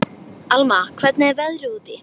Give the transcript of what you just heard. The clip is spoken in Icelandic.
Alma, hvernig er veðrið úti?